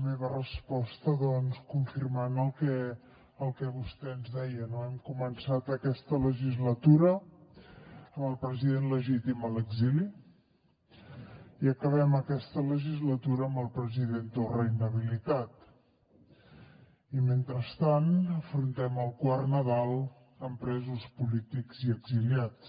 meva resposta doncs confirmant el que vostè ens deia no hem començat aquesta legislatura amb el president legítim a l’exili i acabem aquesta legislatura amb el president torra inhabilitat i mentrestant afrontem el quart nadal amb presos polítics i exiliats